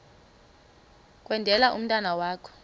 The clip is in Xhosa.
kwendele umntwana wakho